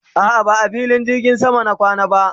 a'a ba a filin jirgin sama na kwana ba